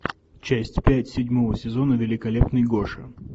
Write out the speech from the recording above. часть пять седьмого сезона великолепный гоша